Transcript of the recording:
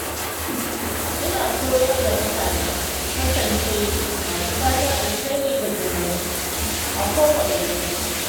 Ina koyar da mutane su kasance masu fatan alheri ga junansu a kowane lokaci.